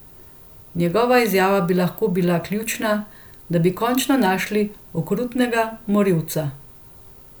Njegova izjava bi lahko bila ključna, da bi končno našli okrutnega morilca.